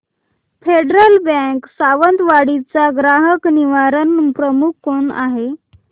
federal bank Sawantwadi चा ग्राहक निवारण प्रमुख कोण आहे